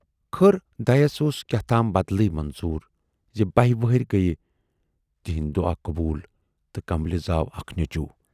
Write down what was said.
خٲر دَیَس اوس کیاہتام بَدلٕے منظوٗر زِ بَہہِ ؤہرۍ گٔیہِ تِہُند دُعا قوبوٗل تہٕ کملہِ ؔزاو اکھ نیچوٗ۔